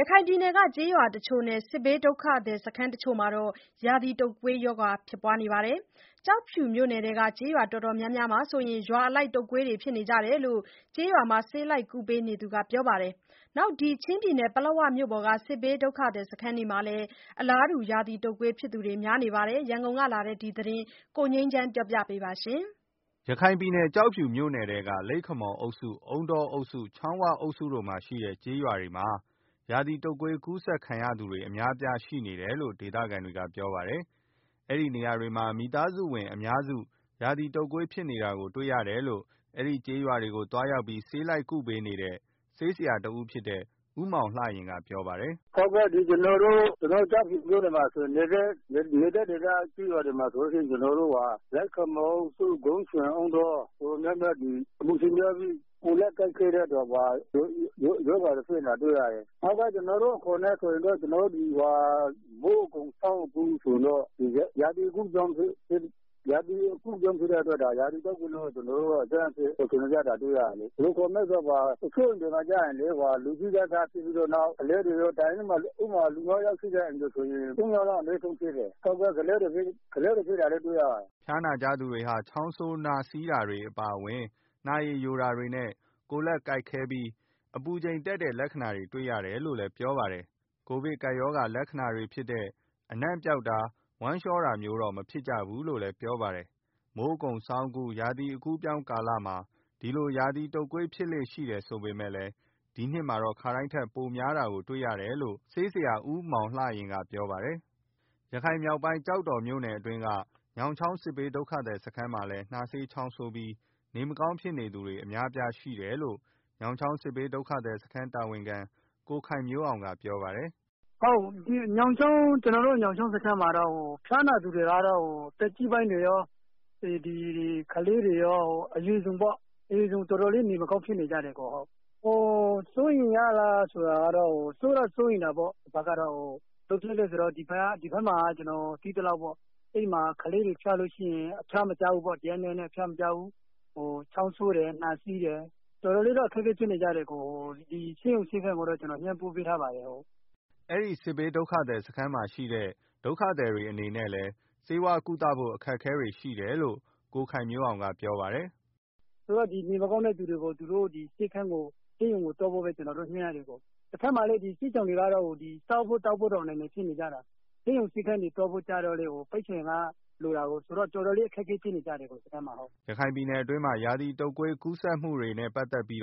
ရခိုင်ပြည်နယ်က ကျေးရွာတချို့နဲ့ စစ်ဘေးဒုက္ခသည်စခန်းတချို့မှာ ရာသီတုပ်ကွေးရောဂါ ဖြစ်နေကြပါတယ်။ ကျောက်ဖြူမြို့နယ်ထဲက ကျေးရွာတော်တော်များများမှာဆို ရွာအလိုက် တုပ်ကွေးဖြစ်နေကြတယ်လို့ ကျေးရွာမှာ ဆေးလိုက်ကုပေးနေသူက ပြောပါတယ်။ ချင်းပြည်နယ်ပလက်ဝ မြို့ပေါ်က စစ်ဘေးဒုက္ခသည်စခန်းတွေမှာလည်း အလားတူ ရာသီတုပ်ကွေးဖြစ်သူတွေ များနေပါတယ်။ ရန်ကုန်ကလာတဲ့ ဒီသတင်းကို ကိုငြိမ်းချမ်းက တင်ပြပေးထားပါတယ်။ ရခိုင်ပြည်နယ် ကျောက်ဖြူမြို့နယ်ထဲက လိပ်ခမော်အုပ်စု၊ အုန်းတောအုပ်စု၊ ချောင်းဝအုပ်စုတို့မှာရှိတဲ့ ကျေးရွာတွေမှာ ရာသီတုပ်ကွေးကူးစက်ခံရသူတွေ အများအပြားရှိနေတယ်လို့ ဒေသခံတွေက ပြောပါတယ်။ အဲဒီနေရာတွေမှာ မိသားစုဝင်အများစု ရာသီတုပ်ကွေးဖြစ်နေတာကို တွေ့ရတယ်လို့ အဲဒီကျေးရွာတွေကို သွားရောက်ပြီး ဆေးလိုက် ကုပေးနေတဲ့ ဆေးဆရာ ဦးမောင်လှယဉ်ကပြောပါတယ်။ “ကျနော်တို့ ကျောက်ဖြူမြို့နယ်က လိပ်ခမော်၊ အုန်းတောအုပ်စု၊ ဂုံးချွိန်ကျေးရွာတွေ ဆိုရင်တော့ အပူချိန်များပြီး ကိုယ်လက်ကိုက်ခဲတဲ့ ရောဂါတွေ ဖြစ်နေတာတွေ့ရတယ်။ ကျနော်တို့အခေါ်နဲ့ဆိုရင်တော့ မိုးအကုန် ဆောင်းအကူး ရာသီအကူးအပြောင်းဖြစ်တဲ့အတွက် ရာသီတုပ်ကွေးဆိုပြီးတော့ တွေ့ရတယ်။ တချို့အိမ်တွေမှာဆိုရင် လူကြီးက စဖြစ်ပြီးတော့ နောက်ကလေးတွေရော ဖြစ်တယ်။ ဥပမာ တအိမ်မှာ လူငါးယောက် ရှိတယ်ဆိုရင် သုံးယောက်အနည်းဆုံးဖြစ်တယ်။ ကလေးတွေ ဖြစ်တာလည်းတွေ့ရပါတယ်။” ဖျားနာကြသူတွေဟာ နှာစေးချောင်းဆိုးတာ၊ နှာရည်ယိုတာနဲ့ ကိုယ်လက်ကိုက်ခဲပြီး အပူချိန်တက်တဲ့လက္ခဏာတွေ တွေ့ရတယ်လို့လည်း ပြောပါတယ်။ ကိုဗစ်ကပ်ရောဂါ လက္ခဏာတွေဖြစ်တဲ့ အနံ့ပျောက်တာ၊ ဝမ်းလျှောတာမျိုးတွေတော့ မဖြစ်ကြဘူးလို့လည်း ပြောပါတယ်။ မိုးအကုန်ဆောင်းအကူး ရာသီအကူးအပြောင်းကာလမှာ ဒီလို ရာသီတုပ်ကွေး ဖြစ်လေ့ရှိတယ်ဆိုပေမယ့် ဒီနှစ်မှာတော့ ခါတိုင်းထက် ပိုများနေတာတွေ့ရတယ်လို့လည်း ဆေးဆရာဦးမောင်လှယဉ်ကပြောပါတယ်။ ရခိုင်မြောက်ပိုင်း ကျောက်တော်မြို့နယ်အတွင်းက ညောင်ချောင်း စစ်ဘေးဒုက္ခသည်စခန်းမှာလည်း နှာစေးချောင်းဆိုးပြီး နေမကောင်းဖြစ်နေသူတွေ အများအပြား ရှိနေတယ်လို့ ညောင်ချောင်းစစ်ဘေးဒုက္ခသည်စခန်းတာဝန်ခံ ကိုခိုင်မျိုးအောင်က ပြောပါတယ်။ “ကျနော်တို့ ညောင်ချောင်းစစ်ရှောင်စခန်းမှာတော့ ဖျားနာသူတွေက သက်ကြီးပိုင်းတွေကော၊ ကလေးတွေရော အရွယ်စုံပေါ့။ တော်တေ်ာလေး နေမကောင်းဖြစ်နေကြတယ်။ စိုးရိမ်တော့ စိုးရိမ်တာပေါ့။ ဘာဖြစ်လို့လဲဆိုတော့ ဒီမှာ ကလေးတွေဖျားရင် တရက်နှစ်ရက်နဲ့ အဖျားမကျဘူး။ ချောင်းဆိုးတယ်။ နှာစေးတယ်။ တော်တော်လေးတော့ အခက်အခဲဖြစ်နေကြတယ်။ ဆေးရုံဆေးခန်းကို တော့ ကျနော်လှမ်းပြောထားပါတယ်။” အဲဒီစစ်ဘေးဒုက္ခသည်စခန်းမှာရှိတဲ့ စစ်ဘေးဒုက္ခသည်တွေအနေနဲ့လည်း ဆေးဝါးကုသ ဖို့ အခက်အခဲတွေ ရှိနေတယ်လို့ ကိုခိုင်မျိုးအောင်က ပြောပါတယ်။ “နေမကောင်းတဲ့သူတွေကိုတော့ ကျနော်တို့ ဆေးရုံကိုသွားဖို့ပဲ ကျနော်တို့ ညွှန်းရတယ်၊ တဘက်မှာလည်း ဒီစစ်ရှောင်တွေက စားဖို့ သောက်ဖို့တောင် အနိုင်နိုင်ဖြစ်နေကြတာ။ ဆေးရုံဆေးခန်းသွားဖို့ ဆိုတာကလည်း ပိုက်ဆံက တော်တော်လိုတာကို ဆိုတော့ တော်တော် လေး အခက်အခဲဖြစ်နေကြတယ် ဒီစခန်းမှာ။” ရခိုင်ပြည်နယ်အတွင်းမှာ ရာသီတုပ်ကွေး ကူးစက်မှုတွေရှိနေတာနဲ့ ပတ်သက်ပြီး